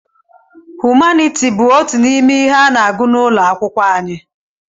Humaniti bụ otú n'ime ihe a n'agụ n'ụlọ akwụkwọ anyị.